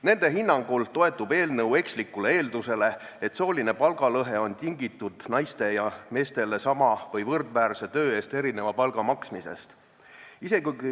Nende hinnangul toetub eelnõu ekslikule eeldusele, et sooline palgalõhe on tingitud naistele ja meestele sama või võrdväärse töö eest erineva palga maksmisest.